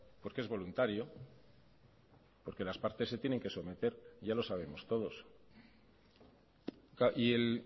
porque es voluntario porque las partes se tienen que someter ya lo sabemos todos y el